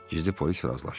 Gizli polis razılaşdı.